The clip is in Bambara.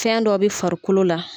Fɛn dɔ bɛ farikolo la.